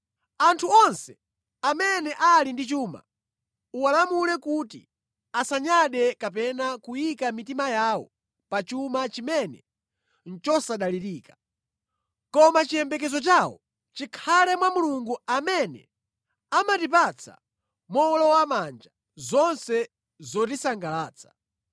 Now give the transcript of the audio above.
Anthu onse amene ali ndi chuma uwalamule kuti asanyade kapena kuyika mitima yawo pa chuma chimene nʼchosadalirika. Koma chiyembekezo chawo chikhale mwa Mulungu amene amatipatsa mowolowamanja zonse zotisangalatsa.